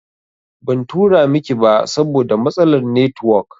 Ban tura miki ba saboda matsalar netiwok